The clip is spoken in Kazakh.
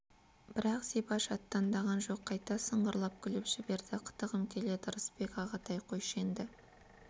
бірақ зибаш аттандаған жоқ қайта сыңғырлап күліп жіберді қытығым келеді ырысбек ағатай қойшы енді